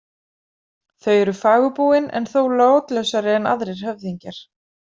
Þau eru fagurbúin en þó látlausari en aðrir höfðingjar.